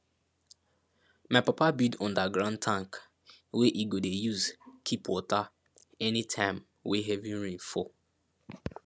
my papa build underground tank wey e go dey use keep water any time wey heavy rain fall